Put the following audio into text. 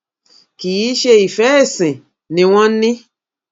kì í ṣe ìfẹ ẹsìn ni wọn ní